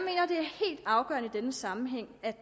denne sammenhæng